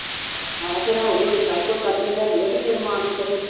ਆਹੋ ਫਿਰ ਹੌਲੀ ਹੌੌਲੀ ਸਭ ਕੁਛ ਕੱਢ ਕੇ ਲੈ ਜਾਊਗਾ ਤੇ ਫਿਰ ਮਾਂ ਕੀ ਕਰੂਗੀ।